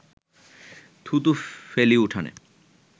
থুতু ফেলি উঠোনে